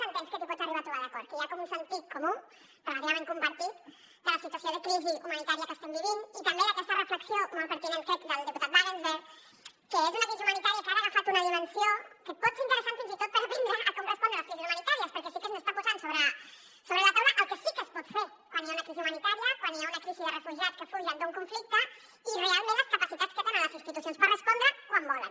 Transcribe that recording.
entens que t’hi pots arribar a trobar d’acord que hi ha com un sentit comú relativament compartit de la situació de crisi humanitària que estem vivint i també d’aquesta reflexió molt pertinent crec del diputat wagensberg que és una crisi humanitària que ara ha agafat una dimensió que pot ser interessant fins i tot per aprendre a com respondre a les crisis humanitàries perquè sí que ens està posant sobre la taula el que sí que es pot fer quan hi ha una crisi humanitària quan hi ha una crisi de refugiats que fugen d’un conflicte i realment les capacitats que tenen les institucions per respondre hi quan volen